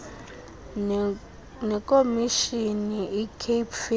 nekomishini icape film